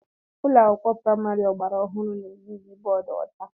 Ụlọ akwụkwọ praịmari gbara ọhụrụ na-eyuzu bọọdụ ọcha.